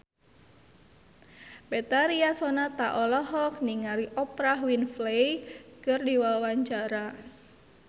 Betharia Sonata olohok ningali Oprah Winfrey keur diwawancara